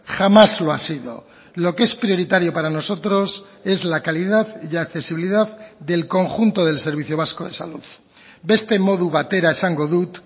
jamás lo ha sido lo que es prioritario para nosotros es la calidad y accesibilidad del conjunto del servicio vasco de salud beste modu batera esango dut